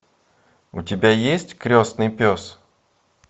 у тебя есть крестный пес